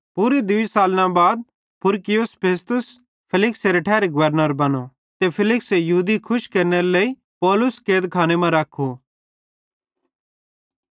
पूरे दूई सालना बाद पुरकियुस फेस्तुस फेलिक्सेरे ठैरी गवर्नर बनो ते फेलिक्से यहूदी खुश केरनेरे लेइ पौलुस कैदखाने मां रख्खो